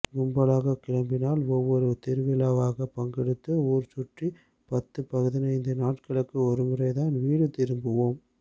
கும்பலாகக் கிளம்பினால் ஒவ்வொரு திருவிழாவாக பங்கெடுத்து ஊர்சுற்றி பத்து பதினைந்து நாட்களுக்கு ஒருமுறைதான் வீடு திரும்புவோம்